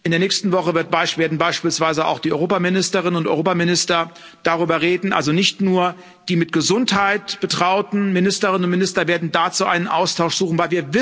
In der nächsten Woche werden beispielsweise auch die Europaministerinnen und Europaminister darüber reden, also nicht nur die mit Gesundheit betrauten Ministerinnen und Minister werden dazu einen Austausch suchen.